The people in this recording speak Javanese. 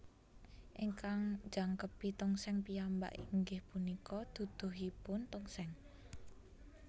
Ingkang njangkepi tongseng piyambak inggih punika duduhipun tongseng